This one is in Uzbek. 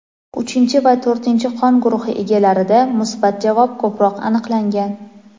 uchinchi va to‘rtinchi qon guruhi egalarida musbat javob ko‘proq aniqlangan.